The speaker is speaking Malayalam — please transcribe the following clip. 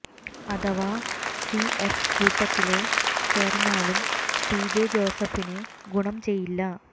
അഥവാ സി എഫ് കൂട്ടത്തില് ചേര്ന്നാലും പിജെ ജോസഫിന് ഗുണം ചെയ്യില്ല